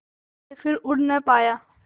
के फिर उड़ ना पाया